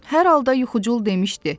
Hər halda yuxucul demişdi.